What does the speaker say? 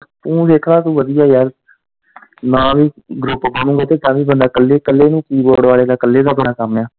ਤੂੰ ਵੇਖਣਾ ਕਿ ਵਧੀਆ ਯਾਰ, ਨਾ ਵੀ group ਬਣੂੰਗਾ ਤੇ ਤਾਂਵੀ ਬੰਦਾ ਕੱਲੇ, ਕੱਲੇ ਨੇ key board ਵਾਲੇ ਦਾ ਕੱਲੇ, ਕੱਲੇ ਦਾ ਬੜਾ ਕੰਮ ਆ।